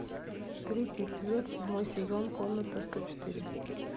третий эпизод седьмой сезон комната сто четыре